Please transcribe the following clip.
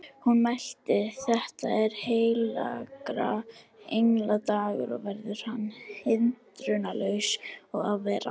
Hún mælti: Þetta er heilagra engla dagur og verður hann hindrunarlaus að vera